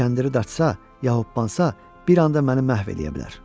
Kəndiri datsa, yaxud qopqansa, bir anda məni məhv eləyə bilər.